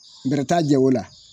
bɛrɛ t'a jɛ o la